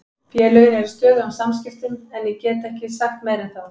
Félögin eru í stöðugum samskiptum en ég get ekki sagt meira en það.